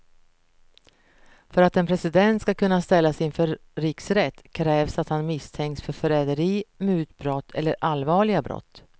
För att en president ska kunna ställas inför riksrätt krävs att han misstänks för förräderi, mutbrott eller allvarliga brott.